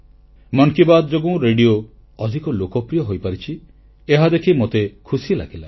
ମନ କି ବାତ୍ ଯୋଗୁଁ ରେଡ଼ିଓ ଅଧିକ ଲୋକପ୍ରିୟ ହୋଇପାରିଛି ଏହାଦେଖି ମୋତେ ଖୁସି ଲାଗିଲା